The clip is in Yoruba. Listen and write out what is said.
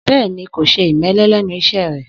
Bẹ́ẹ̀ni, kò ṣe ìmẹ́lẹ́ lẹ́nu iṣẹ́ rẹ